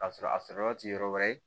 K'a sɔrɔ a sɔrɔ yɔrɔ ti yɔrɔ wɛrɛ ye